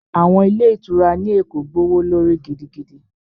Àwọn ilé ìtura ní Èkó gbówó lórí gidigidi